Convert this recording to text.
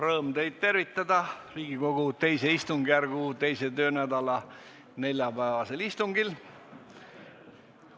Rõõm teid tervitada Riigikogu II istungjärgu 2. töönädala neljapäevasel istungil.